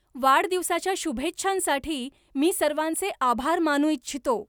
वाढदिवसाच्या शुभेच्छांसाठी मी सर्वांचे आभार मानू इच्छितो